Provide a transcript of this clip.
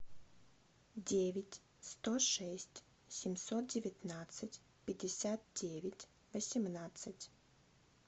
девять сто шесть семьсот девятнадцать пятьдесят девять восемнадцать